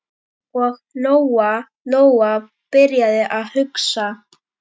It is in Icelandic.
Og Lóa-Lóa byrjaði að hugsa.